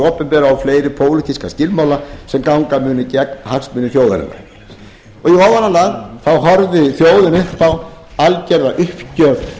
opinbera og fleiri pólitíska skilmála sem ganga munu gegn hagsmunum þjóðarinnar í ofanálag horfði þjóðin upp á algjöra uppgjöf